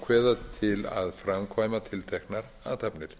ákveða til að framkvæma tilteknar athafnir